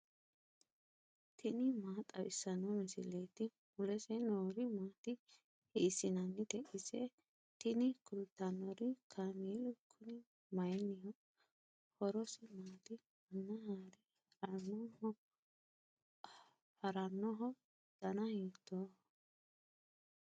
tini maa xawissanno misileeti ? mulese noori maati ? hiissinannite ise ? tini kultannori kaameelu kuni maynniho horosi maati manna haare harannoho dana hiitooho